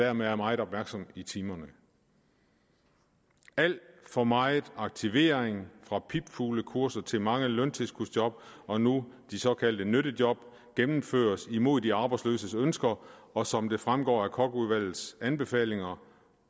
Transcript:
er man meget opmærksom i timerne alt for meget aktivering fra pipfuglekurser til mange løntilskudsjob og nu de såkaldte nyttejob gennemføres imod de arbejdsløses ønsker og som det fremgår af kochudvalgets anbefalinger